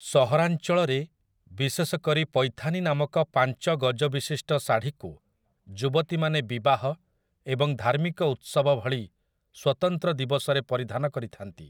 ସହରାଞ୍ଚଳରେ, ବିଶେଷ କରି ପୈଥାନୀ ନାମକ ପାଞ୍ଚ ଗଜବିଶିଷ୍ଟ ଶାଢ଼ୀକୁ, ଯୁବତୀମାନେ ବିବାହ ଏବଂ ଧାର୍ମିକ ଉତ୍ସବ ଭଳି ସ୍ୱତନ୍ତ୍ର ଦିବସରେ ପରିଧାନ କରିଥାନ୍ତି ।